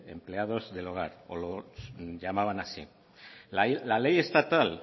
de empleados del hogar o lo llamaban así la ley estatal